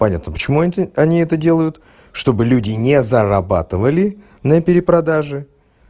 понятно почему они это делают чтобы люди не зарабатывали на перепродаже